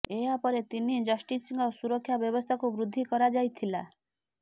ଏହା ପରେ ତିନି ଜଷ୍ଟିସଙ୍କ ସୁରକ୍ଷା ବ୍ୟବସ୍ଥାକୁ ବୃଦ୍ଧି କରାଯାଇଥିଲା